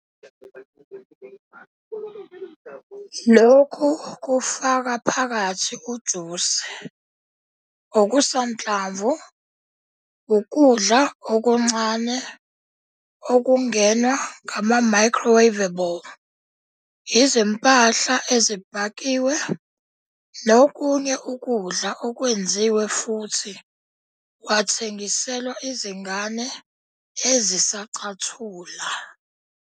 Lokhu kufaka phakathi ujusi, okusanhlamvu, ukudla okuncane okungenwa ngama-microwaveable, izimpahla ezibhakiwe, nokunye ukudla okwenziwe futhi kwathengiselwa izingane ezisacathula.